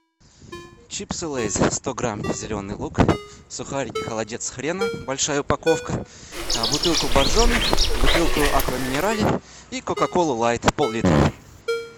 чипсы лейс сто грамм зеленый лук сухарики холодец с хреном большая упаковка бутылку боржоми бутылку аква минерале и кока колу лайт пол литра